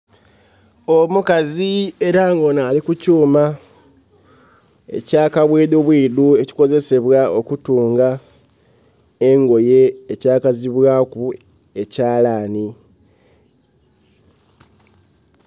Omukazi era nga onho ali ku kyuma ekya kabwidhubwidhu ekikozsebwa okutunga engoye ekyakazibwaku ekyalanhi.